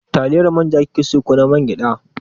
Taliyar manja kike so ko ta mangyaɗa?